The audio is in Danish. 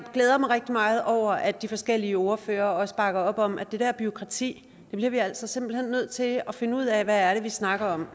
glæder mig rigtig meget over at de forskellige ordførere også bakker op om at det der bureaukrati altså simpelt hen bliver nødt til at finde ud af hvad det er vi snakker om